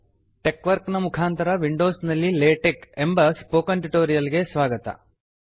ಟೆಕ್ವರ್ಕ್ ನ ಮುಖಾಂತರ ವಿಂಡೋಸ್ ನಲ್ಲಿ ಲೇಟೆಕ್ ಎಂಬ ಸ್ಪೋಕನ್ ಟ್ಯುಟೋರಿಯಲ್ ಗೆ ಸ್ವಾಗತ